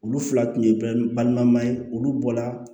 Olu fila tun ye balima ye olu bɔra